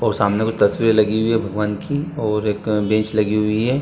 और सामने कुछ तस्वीरें लगी हुई हैं भगवान की और एक बेंच लगी हुई है।